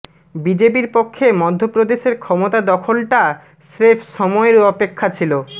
বিজেপির পক্ষে মধ্যপ্রদেশের ক্ষমতা দখলটা স্রেফ সময়ের অপেক্ষা ছিল